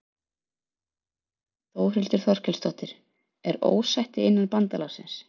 Þórhildur Þorkelsdóttir: Er ósætti innan bandalagsins?